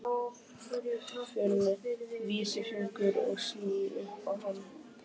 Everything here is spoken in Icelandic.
Finn vísifingur og sný upp á hann.